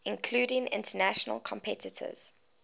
including international competitors